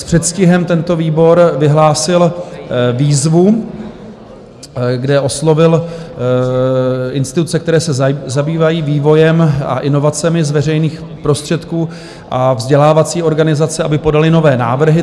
S předstihem tento výbor vyhlásil výzvu, kde oslovil instituce, které se zabývají vývojem a inovacemi z veřejných prostředků a vzdělávací organizace, aby podaly nové návrhy.